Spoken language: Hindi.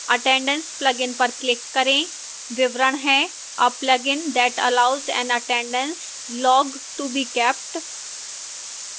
attendance plugin पर click करें